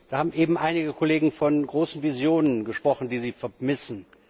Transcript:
Da haben eben einige Kollegen von großen Visionen gesprochen, die sie vermissen.